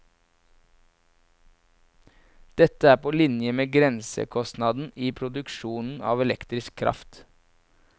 Dette er på linje med grensekostnaden i produksjonen av elektrisk kraft.